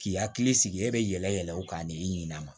K'i hakili sigi e bɛ yɛlɛ yɛlɛ o kan ni ɲinan ma